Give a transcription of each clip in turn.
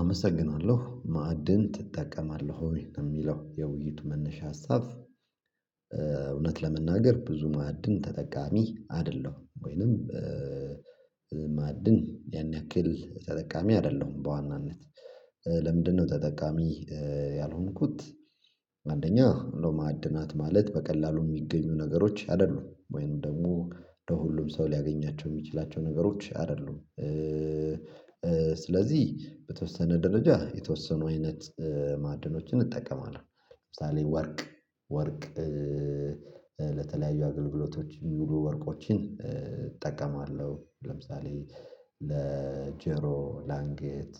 አመሰግናለሁ ማዕድን ትጠቀማለህ ወይ ነው የሚለው የውይይት መነሻ ሀሳብ እውነት ለመናገር ብዙ ማዕድን ተጠቃሚ አይደለም ወይንም ማዕድን ያን ያክል ተጠቃሚ አይደለሁም በዋናነት ለምንድነው ተጠቃሚ ያልሆንኩት አንደኛ እንደው ማዕድናት ማለት በቀላሉ የሚገኙ ነገሮች አይደሉም ወይኑ ደግሞ ለሁሉም ሰው ሊያገኛቸው የሚችላቸው ነገሮች አይደሉም ስለዚህ በተወሰነ ደረጃ የተወሰኑ አይነት ማዕድኖችን እንጠቀማለን ለምሳሌ ወርቅ ወርቅ ለተለያዩ አገልግሎቶች የሚሉ ወርቆችን እጠቀማለሁ ለምሳሌ ለጄሮ፣ ላንጌት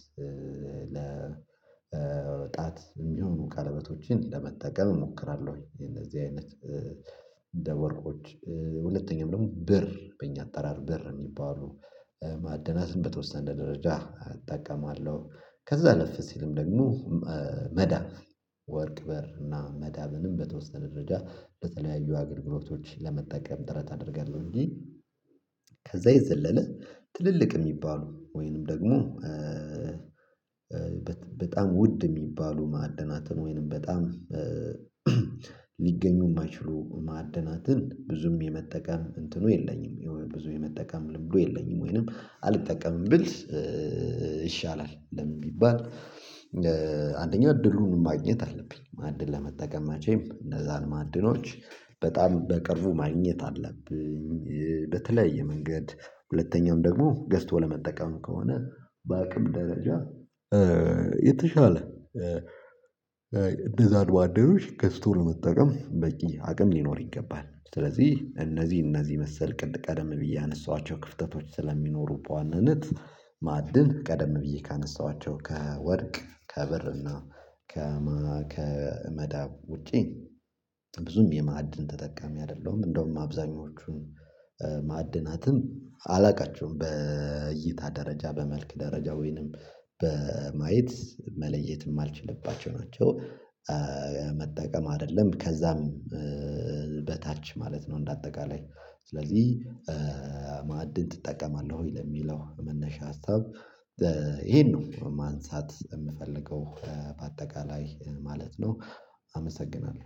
ለ ለጣት የሚሆኑ ቀለበቶችን ለመጠቀም እሞክራለሁ ወይ የነዚህ አይነት እንደ ወርቆች ሁለተኛም ደግሞ ብር በእኛ አጠራር ብር የሚባሉ ማደናትን በተወሰነ ደረጃ አጠቃቀማለሁ ከዛ ኣለፍስ ሲልም ደግሞ መዳብ ወርቅ በር እና መዳብንም በተወሰነ ደረጃ በተለያዩ አገልግሎቶች ለመጠቀም ጥረት አደርጋለሁ እንጂ ከዛ የዘለለ ትልልቅ የሚባሉ ወይንም ደግሞ በጣም ውድ የሚባሉ ማዕደናትን ወይንም በጣም ሊገኙ የማይችሉ ማዕደናትን ብዙም የመጠቀም እንትኑ የለኝም የብዙ የመጠቀም ልብዱ የለኝም ወይንም አልጠቀምም ብል ይሻላል ለምን የሚባል አንደኛው እድሉን ማግኘት አለብኝ ማዕድን ለመጠቀማች ወይም እነዛን ማዕድኖች በጣም በቅርቡ ማግኘት አለብኝ በተለያየ መንገድ ሁለተኛውም ደግሞ ገዝቶ ለመጠቀም ከሆነ በአቅም ደረጃ የተሻለ እንደዛ አድባደሮች ገዝቶ ለመጠቀም በቂ አቅም ሊኖር ይገባል ስለዚህ እነዚህ እነዚ መሰል ቅድ ቀደም ብዬ አነሳኋቸው ክፍተቶች ስለሚኖሩ በዋነነት ማዕድን ቀደም ብዬ ካነሳኋቸው ከወርቅ ከብርና ከመዳብ ውጪ ብዙም የማዕድን ተጠቃሚ አይደለሁም እንደውም አብዛኞቹን ማዕድናትን አላቀችውም በእይታ ደረጃ በመልክ ደረጃ ወይንም በማየት መለየትም ማልችልባቸው ናቸው። መጠቀም አይደለም ከዛም በታች ማለት ነው እንደ አጠቃላይ ስለዚህ ማዕድን ትጠቀማለህ ወይ ለሚለው መነሻ ሀሳብ ይሄን ነው ማንሳት የምፈልገው በአጠቃላይ ማለት ነው አመሰግናለሁ።